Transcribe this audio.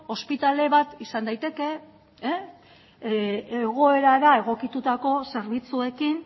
ospitale bat izan daiteke egoerara egokitutako zerbitzuekin